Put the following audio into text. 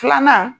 Filanan